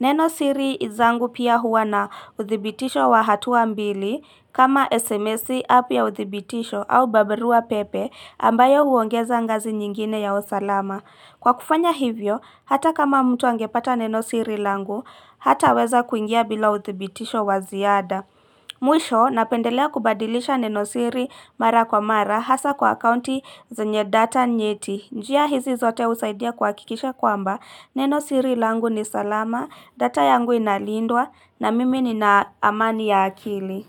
Neno siri izangu pia huwa na udhibitisho wa hatua mbili kama SMS api ya udhibitisho au babirua pepe ambayo huongeza ngazi nyingine ya usalama. Kwa kufanya hivyo, hata kama mtu angepata neno siri langu, hata weza kuingia bila udhibitisho waziada. Mwisho, napendelea kubadilisha neno siri mara kwa mara hasa kwa akaunti zenyedata nyeti. Njia hizi zote usaidia kuakikisha kwamba, neno siri langu ni salama, data yangu inalindwa na mimi ni naamani ya akili.